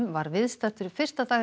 var viðstaddur fyrsta dag